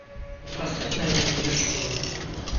поставь надежда ершова